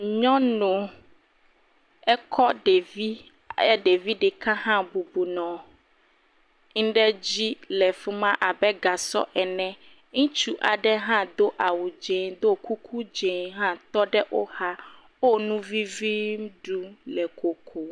Nyɔnu, ekɔ ɖevi, e..ɖevi ɖeka hã bɔbɔ nɔ ŋɖe dzi le fi ma abe gasɔ ene, ŋutsu aɖe hã do awu dzɛ do kuku dzɛ hã tɔ ɖe wo xa, wo nu vivi ɖu le kokom.